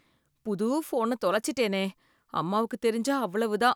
புது ஃபோனத் தொலைச்சுட்டேனே! அம்மாவுக்குத் தெரிஞ்சா அவ்வளவு தான்!